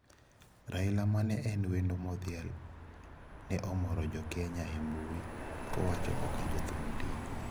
Raila, mane en wendo modhial ne omoro jokenya e mbui kowacho kaka jothum ndiko.